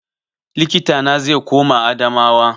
Likita na zai koma Adamawa